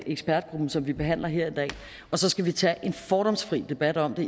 ekspertgruppen som vi behandler her i dag og så skal vi tage en fordomsfri debat om det